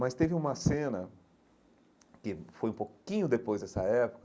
Mas teve uma cena que foi um pouquinho depois dessa época,